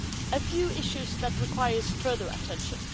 A few issues that require further attention.